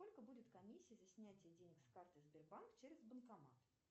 сколько будет комиссия за снятие денег с карты сбербанк через банкомат